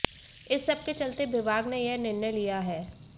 इस सबके चलते विभाग ने यह निर्णय लिया है